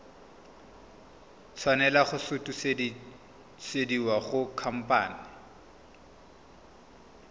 tshwanela go sutisediwa go khamphane